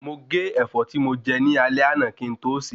Mo gé Ẹ̀fọ́ tí mo jẹ ní alé àná kín to se